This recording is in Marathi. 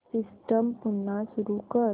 सिस्टम पुन्हा सुरू कर